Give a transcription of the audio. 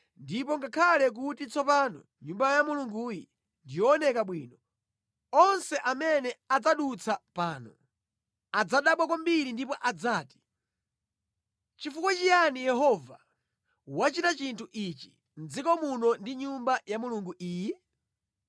Ndipo ngakhale kuti tsopano Nyumba ya Mulunguyi ndi yokongola kwambiri, onse amene adzadutsa pano adzadabwa kwambiri ndipo adzati, ‘Nʼchifukwa chiyani Yehova wachita chinthu chotere mʼdziko muno ndi pa Nyumba ya Mulunguyi?’